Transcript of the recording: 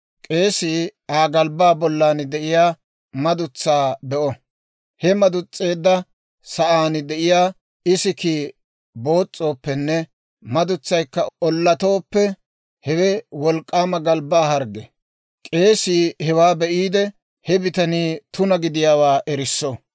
K'eesii Aa galbbaa bollan de'iyaa madutsaa be'o. He madus'eedda sa'aan de'iyaa isikkii boos's'ooppenne, madutsaykka ollatooppe, hewe wolk'k'aama galbbaa hargge. K'eesii hewaa be'iide, he bitanii tuna gidiyaawaa erisso.